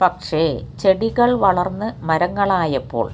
പക്ഷേ ചെടികൾ വളർന്ന് മരങ്ങളായപ്പോൾ